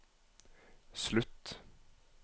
slutt